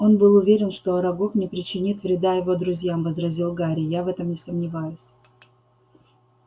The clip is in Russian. он был уверен что арагог не причинит вреда его друзьям возразил гарри я в этом не сомневаюсь